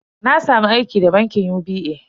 Na samu aiki da bankin UBA.